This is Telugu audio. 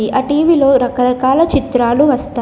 ఆ టీ_వీలో రకరకాల చిత్రాలు వస్తాయి.